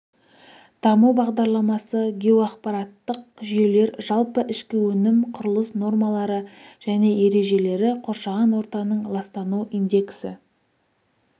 даму бағдарламасы геоақпараттық жүйелер жалпы ішкі өнім құрылыс нормалары және ережелері қоршаған ортаның ластану индексі